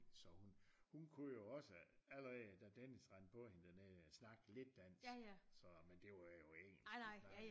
Så hun hun kunne jo også allerede da Dennis rendte på hende dernede snakke lidt dansk så men det var jo ingenting